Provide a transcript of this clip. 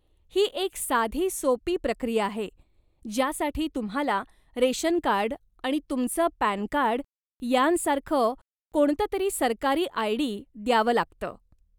ही एक साधी सोपी प्रक्रिया आहे, ज्यासाठी तुम्हाला रेशनकार्ड, आणि तुमचं पॅनकार्ड यांसारखं कोणततरी सरकारी आय.डी. द्यावं लागतं.